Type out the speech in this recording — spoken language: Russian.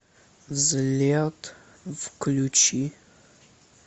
взлет включи